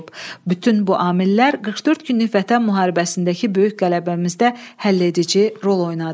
Bütün bu amillər 44 günlük Vətən müharibəsindəki böyük qələbəmizdə həlledici rol oynadı.